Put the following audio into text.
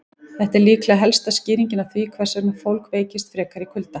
Þetta er líklega helsta skýringin á því hvers vegna fólk veikist frekar í kulda.